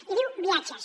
i diu viatges